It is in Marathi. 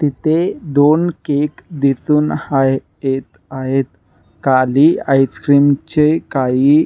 तीथे दोन केक दिसून हाय येत आहेतकाली आईस्क्रिम चे काही--